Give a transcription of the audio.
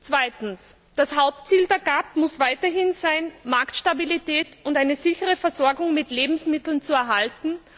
Zweitens Das Hauptziel der GA muss weiterhin sein, die Marktstabilität und eine sichere Versorgung mit Lebensmitteln zu erhalten.